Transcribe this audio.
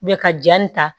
ka ja nin ta